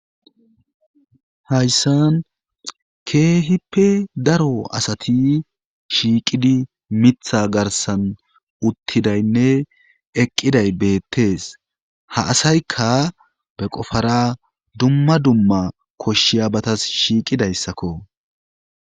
Hayssan keehippe daro asati shiiqidi mitha garsan uttidaynne eqqiday beettees ha asaykka be qofara dumma dumma koshshiya batas shiiqidayssakko.